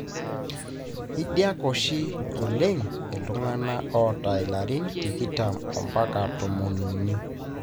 itadiak oshi oleng iltungana oata ilarin tikitam ampaka tomon uni.